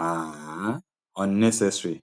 um unnecessary